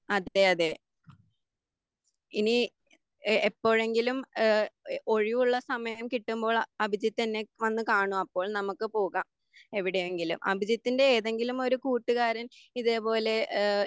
അതെ അതെ ഇനി എഹ് എപ്പോഴെങ്കിലും ഏഹ് ഒഴിവുള്ള സമയം കിട്ടുമ്പോൾ അഭിജിത്ത് എന്നെ വന്നു കാണൂ അപ്പോൾ നമുക്ക് പോകാം എവിടെയെങ്കിലും അഭിജിത്തിന്റെ ഏതെങ്കിലും ഒരു കൂട്ടുകാരൻ ഇതേ പോലെ ഏഹ്